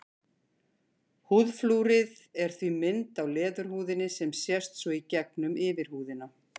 Húðflúrið er því mynd á leðurhúðinni sem sést svo í gegnum yfirhúðina.